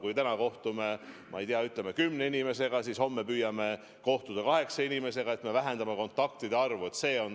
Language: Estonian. Kui me täna kohtume, ma ei tea, kümne inimesega, siis homme püüame kohtuda kaheksa inimesega, et vähendada kontaktide arvu.